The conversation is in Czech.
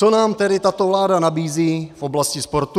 Co nám tedy tato vláda nabízí v oblasti sportu?